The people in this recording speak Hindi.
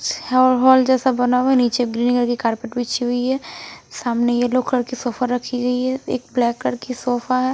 हॉल जैसा बना हुआ है नीचे ग्रीन कलर की कार्पेट बिछी हुई है सामने येलो कलर की सोफा रखी गई है एक ब्लैक कलर की सोफा है।